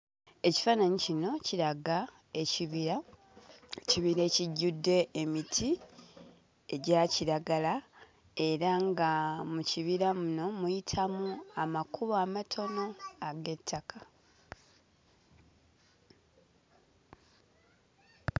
Ekifaananyi kino kiraga ekibira; ekibira ekijjudde emiti egya kiragala era nga mu kibira muno muyitamu amakubo amatono ag'ettaka.